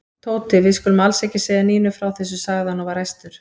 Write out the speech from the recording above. Tóti, við skulum alls ekki segja Nínu frá þessu sagði hann og var æstur.